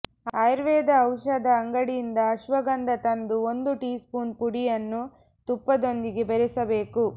ಆಯುರ್ವೇದ ಔಷಧ ಅಂಗಡಿಯಿಂದ ಅಶ್ವಗಂಧ ತಂದು ಒಂದು ಟೀಸ್ಪೂನ್ ಪುಡಿಯನ್ನು ತುಪ್ಪದೊಂದಿಗೆ ಬೆರೆಸಬೇಕು